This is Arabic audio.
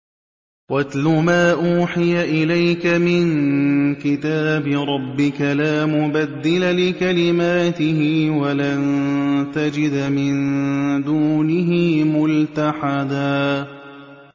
وَاتْلُ مَا أُوحِيَ إِلَيْكَ مِن كِتَابِ رَبِّكَ ۖ لَا مُبَدِّلَ لِكَلِمَاتِهِ وَلَن تَجِدَ مِن دُونِهِ مُلْتَحَدًا